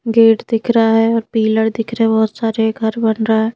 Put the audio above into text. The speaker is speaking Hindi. गेट दिख रहा है और पीलर दिख रहे हैं बहुत सारे घर बन रहा है।